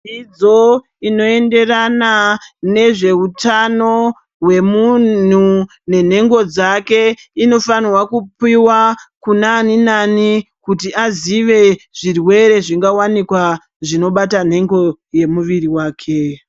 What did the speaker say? Dzidzo inoenderana nezveutano hwemunhu nenhengo dzake inofanhwa kupiwa kuna ani nani kuti azive zvirwere zvingawanikwa zvinobata nhengo yemuviri wake.